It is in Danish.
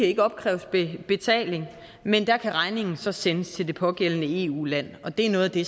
ikke opkræves betaling men der kan regningen så sendes til det pågældende eu land og det er noget af det